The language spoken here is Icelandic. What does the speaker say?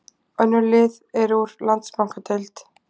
Önnur lið eru úr Landsbankadeild.